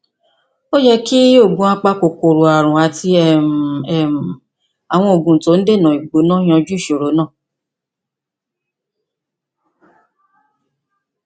ó yẹ kí oògùn apakòkòrò ààrùn àti um àwọn oògùn tó ń dènà ìgbóná yanjú ìṣòro náà